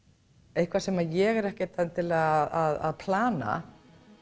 eitthvað sem ég er ekkert endilega að plana